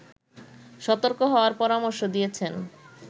সতর্ক হওয়ার পরামর্শ দিয়েছেন